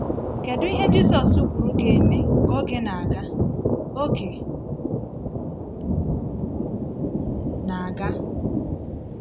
Kedu ihe Jisus kwuru ga-eme ka oge na-aga? oge na-aga?